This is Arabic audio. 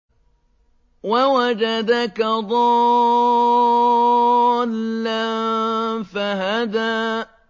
وَوَجَدَكَ ضَالًّا فَهَدَىٰ